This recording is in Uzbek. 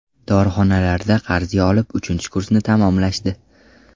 Dorixonalardan qarzga olib, uchinchi kursni tamomlashdi.